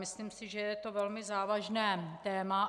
Myslím si, že je to velmi závažné téma.